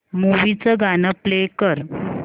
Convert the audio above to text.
movie चं गाणं play कर